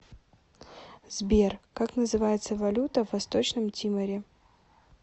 сбер как называется валюта в восточном тиморе